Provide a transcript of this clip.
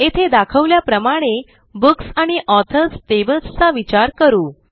येथे दाखवल्याप्रमाणे बुक्स आणि ऑथर्स टेबल्स चा विचार करू